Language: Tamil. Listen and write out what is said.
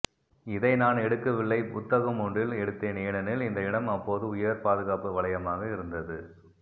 இதை நான் எடுக்கவில்லை புத்தகமொன்றில் எடுத்தேன் ஏனெனில் இந்த இடம் அப்போது உயர் பாதுகாப்பு வலையமாக இருந்தது